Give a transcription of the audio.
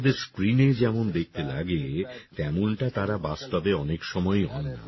অভিনেতাদের স্ক্রিনে যেমন দেখতে লাগে তেমনটা তারা বাস্তবে অনেক সময়ই হন না